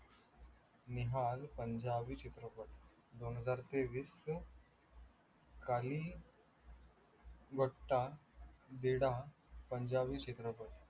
नेहाल पंजाबी चित्रपट दोनहजार तेवीस काहीही वट्टा दीडा पंजाबी चित्रपट